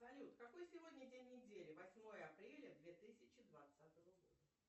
салют какой сегодня день недели восьмое апреля две тысячи двадцатого года